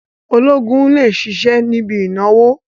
Ológun lè ṣiṣẹ́ níbi ìnáwó